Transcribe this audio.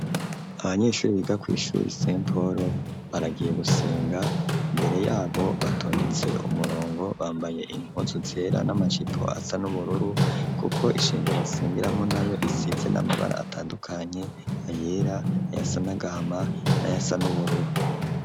Abanyeshuri biga kwishuri nse polo ,baragiye gusenga imbere yabo batondetse umurongo ,bambaye impuzu zera ,n'amacipo asa nubururu ,kuko isengero basengiramwo nayo isize n'amabara atandukanye ,ayera ,ayasanagahama ,n'ayasa n'ubururu.